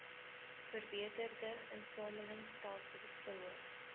verbeterde insamelingstelsels verhoog